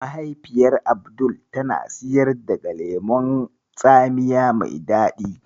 Mahaifiyar Abdul tana siyar daga lemon tsamiya mai daɗi.